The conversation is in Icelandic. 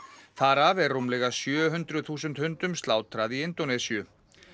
þar af er rúmlega sjö hundruð þúsund hundum slátrað í Indónesíu